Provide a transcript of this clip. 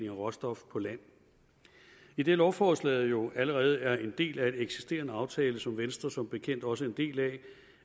af råstoffer på land idet lovforslaget jo allerede er en del af en eksisterende aftale som venstre som bekendt også er en del af